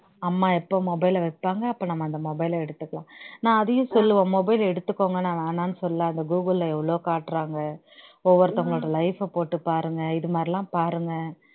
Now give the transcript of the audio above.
அம்மா எப்ப mobile அ வைப்பாங்க அப்ப நம்ம அந்த mobile ல எடுத்துக்கலாம் நான் அதையும் சொல்லுவேன் mobile எடுத்துக்கோங்க நான் வேணாம்னு சொல்லல அந்த கூகுள்ல எவ்வளவோ காட்டுறாங்க ஒவ்வொருத்தங்களோட life அ போட்டு பாருங்க இது மாதிரி எல்லாம் பாருங்க